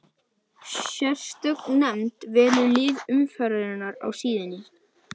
Sérstök nefnd velur lið umferðarinnar á síðunni.